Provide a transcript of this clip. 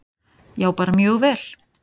Já, bara mjög vel.